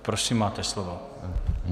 Prosím, máte slovo.